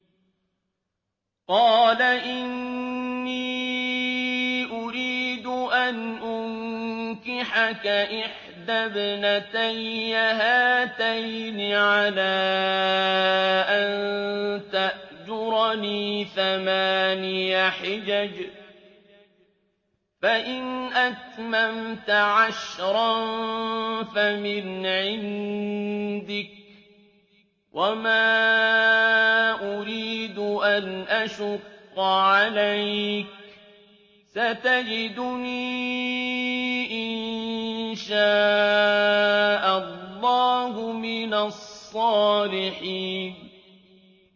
قَالَ إِنِّي أُرِيدُ أَنْ أُنكِحَكَ إِحْدَى ابْنَتَيَّ هَاتَيْنِ عَلَىٰ أَن تَأْجُرَنِي ثَمَانِيَ حِجَجٍ ۖ فَإِنْ أَتْمَمْتَ عَشْرًا فَمِنْ عِندِكَ ۖ وَمَا أُرِيدُ أَنْ أَشُقَّ عَلَيْكَ ۚ سَتَجِدُنِي إِن شَاءَ اللَّهُ مِنَ الصَّالِحِينَ